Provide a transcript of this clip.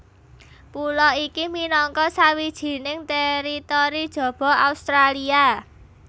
Pulo iki minangka sawijining teritori jaba Australia